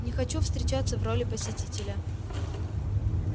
не хочу встречаться в роли посителя